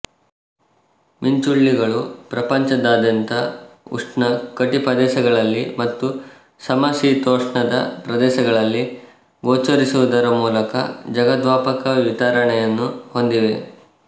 ಮಿಂಚುಳ್ಳಿಗಳು ಪ್ರಪಂಚದಾದ್ಯಂತ ಉಷ್ಣ ಕಟಿಪದೇಶಗಳಲ್ಲಿ ಮತ್ತು ಸಮಶೀತೋಷ್ಣದ ಪ್ರದೇಶಗಳಲ್ಲಿ ಗೋಚರಿಸುವುದರ ಮೂಲಕ ಜಗದ್ವಾಪಕ ವಿತರಣೆಯನ್ನು ಹೊಂದಿವೆ